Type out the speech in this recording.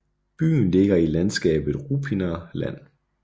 Byen ligger i landskabet Ruppiner Land